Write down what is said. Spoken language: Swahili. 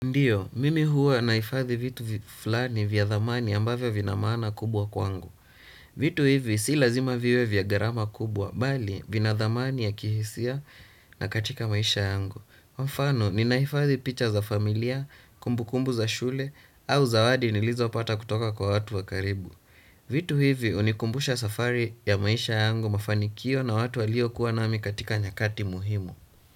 Ndiyo, mimi huwa naifadhi vitu fulani vya dhamani ambavyo vinamaana kubwa kwangu. Vitu hivi si lazima viwe vya gharama kubwa, bali vinadhamani ya kihisia na katika maisha yangu. Mfano, ninahifadhi picha za familia, kumbu kumbu za shule, au zawadi nilizopata kutoka kwa watu wa karibu. Vitu hivi hunikumbusha safari ya maisha yangu, mafanikio na watu waliokuwa na mimi katika nyakati muhimu.